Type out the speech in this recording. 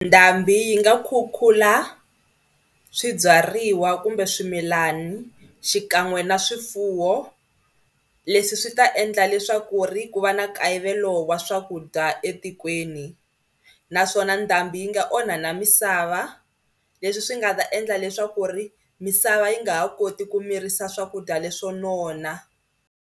Ndhambi yi nga khukhula swibyariwa kumbe swimilani xikan'we na swifuwo. Leswi swi ta endla leswaku ri ku va na nkayivelo wa swa swakudya etikweni naswona ndhambi yi nga onha na misava leswi swi nga ta endla leswaku ri misava yi nga ha koti ku mirisa swakudya leswo nona.